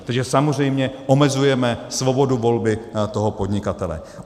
Takže samozřejmě omezujeme svobodu volby toho podnikatele.